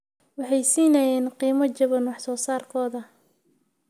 Waxay siinayeen qiimo jaban wax soo saarkooda.